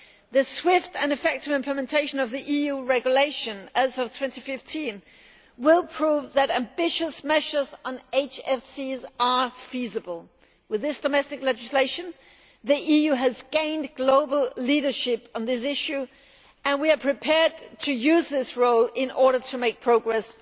The swift and effective implementation of the EU regulation as of 2015 will prove that ambitious measures on HFCs are feasible. With this domestic legislation, the EU has gained global leadership on this issue, and we are prepared to use this role in order to make progress